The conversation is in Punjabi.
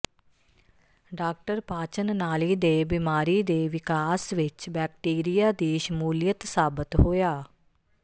ਡਾ ਪਾਚਨ ਨਾਲੀ ਦੇ ਬਿਮਾਰੀ ਦੇ ਵਿਕਾਸ ਵਿੱਚ ਬੈਕਟੀਰੀਆ ਦੀ ਸ਼ਮੂਲੀਅਤ ਸਾਬਤ ਹੋਇਆ